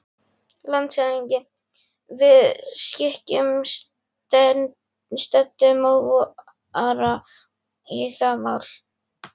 LANDSHÖFÐINGI: Við skikkum setudómara í það mál.